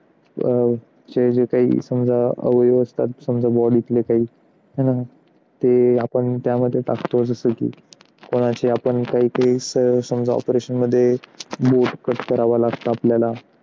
अं जे जे काही अवयव असतात म्हणजे body ले काही हे ना ते आपण त्यामध्ये टाकतो. जसं की कोणाचे आपण काही काही समजा operation मध्ये बोट cut करावा लागतो. आपल्याला